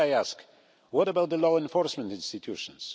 But should I ask what about the law enforcement institutions?